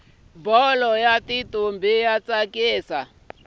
bholo yatintombi yatsakisa